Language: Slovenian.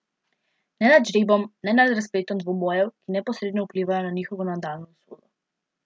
Ne nad žrebom ne nad razpletom dvobojev, ki neposredno vplivajo na njihovo nadaljnjo usodo.